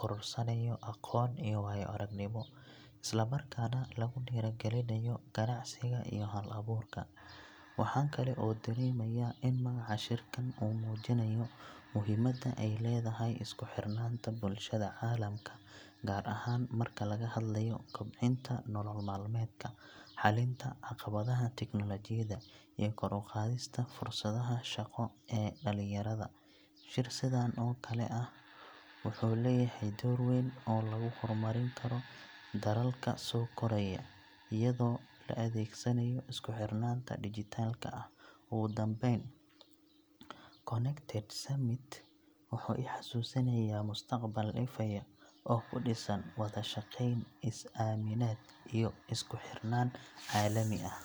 korodhsanayo aqoon iyo waayo-aragnimo, isla markaana lagu dhiirrigelinayo ganacsiga iyo hal-abuurka. Waxaan kale oo dareemayaa in magaca shirkan uu muujinayo muhiimadda ay leedahay isku xidhnaanta bulshada caalamka, gaar ahaan marka laga hadlayo kobcinta nolol maalmeedka, xalinta caqabadaha teknoolajiyadda iyo kor u qaadista fursadaha shaqo ee dhallinyarada. Shir sidan oo kale ah wuxuu leeyahay door weyn oo lagu horumarin karo dalalka soo koraya, iyadoo la adeegsanayo isku xirnaanta dijitaalka ah. Ugu dambayn, Connected Summit wuxuu i xasuusinayaa mustaqbal ifaya oo ku dhisan wada shaqayn, is-aaminaad iyo isku xirnaan caalami ah.